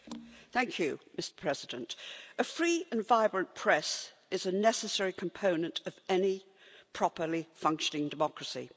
Mr President, a free and vibrant press is a necessary component of any properly functioning democracy.